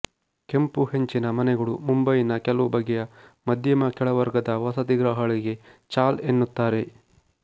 ಕೆಂಪು ಹೆಂಚಿನ ಮನೆಗಳು ಮುಂಬಯಿನ ಕೆಲವು ಬಗೆಯ ಮಧ್ಯಮಕೆಳ ವರ್ಗದ ವಸತಿಗೃಹಗಳಿಗೆ ಚಾಲ್ ಎನ್ನುತ್ತಾರೆ